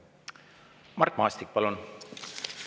Mart Maastik, palun!